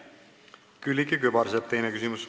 Külliki Kübarsepp, teine küsimus.